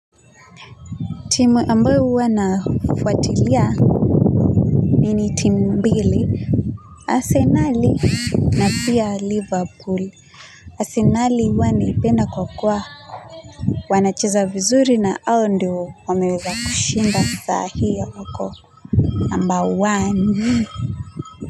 Timu ambayo huwa nafuatilia nini timu mbili, Arsenal na pia Liverpool. Arsenali huwa ninaipenda kwa kuwa. Wanacheza vizuri na hao ndio wameweza kushinda sahi na wako. Number one.